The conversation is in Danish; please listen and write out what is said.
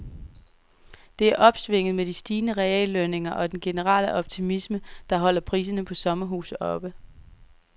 Det er opsvinget med de stigende reallønninger og den generelle optimisme, der holder priserne på sommerhuse oppe.